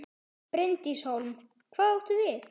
Bryndís Hólm: Hvað áttu við?